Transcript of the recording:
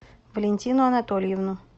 валентину анатольевну